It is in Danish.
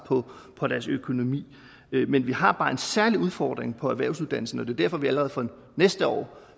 på deres økonomi men vi har bare en særlig udfordring på erhvervsuddannelserne det derfor vi allerede fra næste år